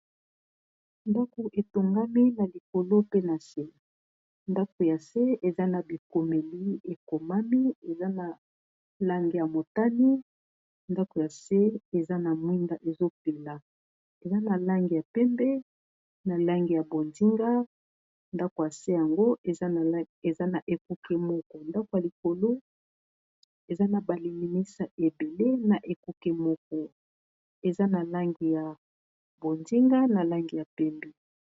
ndako etongami na likolo pe na se ndako ya se eza na bikomeli ekomami eza na lange ya motani ndako ya se eza na mwinda ezopela eza na langi ya pembe na langi ya bonzinga ndako ya se yango eza na ekuke moko ndako ya likolo eza na balilimisa ebele na ekuke moko eza na langi ya bonzinga na langi ya pembe